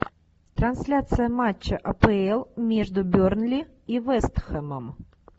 трансляция матча апл между бернли и вест хэмом